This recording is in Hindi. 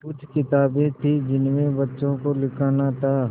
कुछ किताबें थीं जिनमें बच्चों को लिखना था